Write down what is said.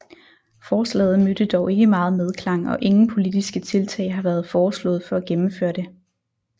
Forslaget mødte dog ikke meget medklang og ingen politiske tiltag har været foreslået for at gennemføre det